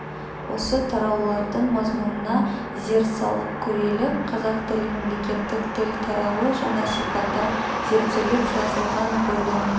осы тараулардың мазмұнына зер салып көрелік қазақ тілі мемлекеттік тіл тарауы жаңа сипатта зерттеліп жазылған бөлім